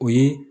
O ye